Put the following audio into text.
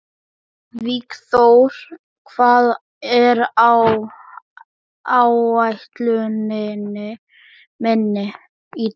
Vígþór, hvað er á áætluninni minni í dag?